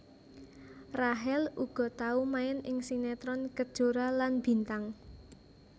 Rachel uga tau main ing sinetron Kejora lan Bintang